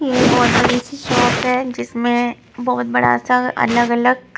है जिसमें बहुत बड़ा सा अलग-अलग--